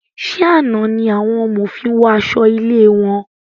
Ṣe àna ní àwọn amòfin wọ aṣọ ilé wọn?